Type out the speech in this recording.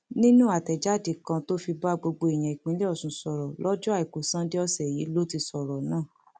nínú àtẹjáde kan tó fi bá gbogbo èèyàn ìpínlẹ ọsùn sọrọ lọjọ àìkú sánńdé ọsẹ yìí ló ti sọrọ náà